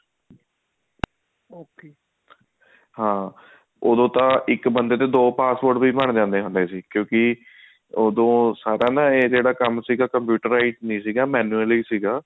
ਹਾਂ ਉਦੋਂ ਤਾਂ ਇੱਕ ਬੰਦੇ ਦੇ ਦੋ passport ਵੀ ਬਣ ਜਾਂਦੇ ਸੀ ਕਿਉਂਕਿ ਉਦੋਂ ਨਾ ਇਹ ਸਾਰਾ ਕੰਮ ਸੀਗਾ computerized ਨਹੀਂ ਸੀਗਾ manually ਸੀਗਾ